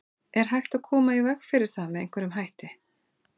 Er hægt að koma í veg fyrir það með einhverjum hætti?